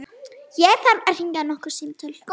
Ég þarf að hringja nokkur símtöl.